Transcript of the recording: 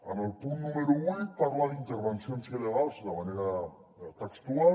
en el punt número vuit parla d’ intervencions il·legals de manera textual